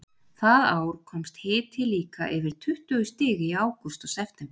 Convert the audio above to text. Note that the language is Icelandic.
það ár komst hiti líka yfir tuttugu stig í ágúst og september